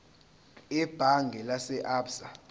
ebhange lase absa